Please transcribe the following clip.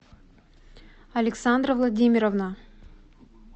александра владимировна